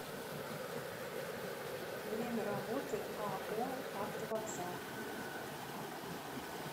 время работы ао автовокзал